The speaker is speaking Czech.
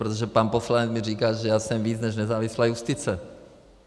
Protože pan poslanec mi říká, že já jsem víc než nezávislá justice.